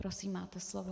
Prosím, máte slovo.